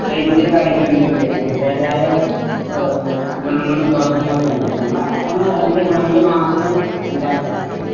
ദൈനംദിന കാര്യങ്ങളിലും അതിന്റേതായ ഗുണങ്ങളും